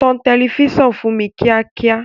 Tan tẹlifíṣàn fún mi kíákíá!